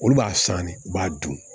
Olu b'a san ne b'a dun